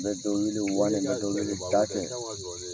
N bɛ dɔ wele u b'a kɛ ka dɔ wele u t'a kɛ